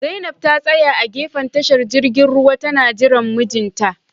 Zainab ta tsaya a gefen tashar jirgin ruwa tana jiran mijinta